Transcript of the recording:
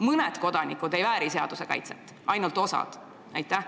Mõned kodanikud ei vääri seaduse kaitset, ainult osa kodanikest väärib.